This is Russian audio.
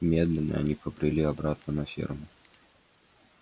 медленно они побрели обратно на ферму